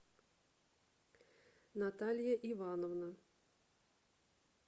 наталья ивановна